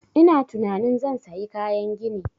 Ina tunanin zan sayi kayan gini